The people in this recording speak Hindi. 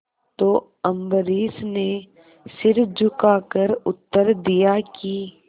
तो अम्बरीश ने सिर झुकाकर उत्तर दिया कि